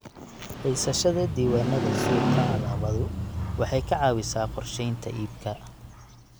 Haysashada diiwaannada suuqa alaabadu waxay ka caawisaa qorsheynta iibka.